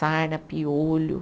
Sarna, piolho.